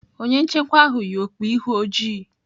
Onye nchekwa ahụ yi okpu ihu ojii..